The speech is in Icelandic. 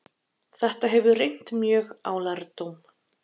þetta hefur reynt mjög á lærdóm